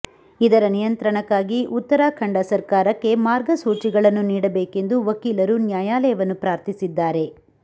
ಇದರ ನಿಯಂತ್ರಣಕ್ಕಾಗಿ ಉತ್ತರಾಖಂಡ ಸರ್ಕಾರಕ್ಕೆ ಮಾರ್ಗಸೂಚಿಗಳನ್ನು ನೀಡಬೇಕೆಂದು ವಕೀಲರು ನ್ಯಾಯಾಲಯವನ್ನು ಪ್ರಾರ್ಥಿಸಿದ್ದಾರೆ